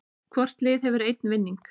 Hvort lið hefur einn vinning